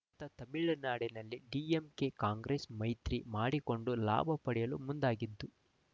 ಇತ್ತ ತಮಿಳುನಾಡಿನಲ್ಲಿ ಡಿಎಂಕೆಕಾಂಗ್ರೆಸ್ ಮೈತ್ರಿ ಮಾಡಿಕೊಂಡು ಲಾಭ ಪಡೆಯಲು ಮುಂದಾಗಿದ್ದು